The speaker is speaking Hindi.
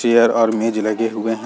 चेयर और मेज लगे हुए हैं।